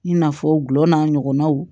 I n'a fɔ gulɔ n'a ɲɔgɔnnaw